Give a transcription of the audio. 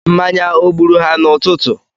Mmanya ọ gburu ha n'ụtụtụ?